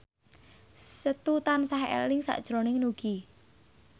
Setu tansah eling sakjroning Nugie